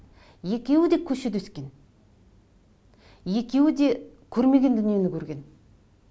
екеуі де көшеде өскен екеуі де көрмеген дүниені көрген